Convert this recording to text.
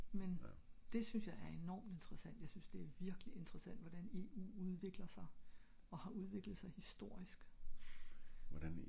men det synes jeg er enormt interessant jeg synes det er virkelig interessant hvordan eu udvikler sig og har udviklet sig historiske